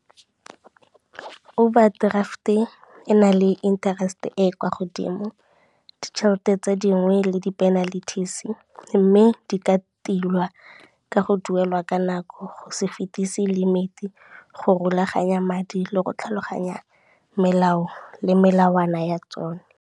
Overdraft-e ena le interest-e e kwa godimo, ditšhelete tse dingwe le di-penalties, mme di ka tilwa ka go duelwa ka nako, go se fetisi limit, go rulaganya madi le go tlhaloganya melao le melawana ya tsone.